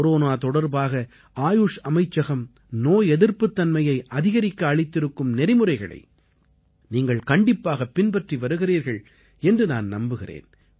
corona தொடர்பாக ஆயுஷ் அமைச்சகம் நோய் எதிர்ப்புத்தன்மையை அதிகரிக்க அளித்திருக்கும் நெறிமுறைகளை நீங்கள் கண்டிப்பாகப் பின்பற்றி வருகிறீர்கள் என்று நான் நம்புகிறேன்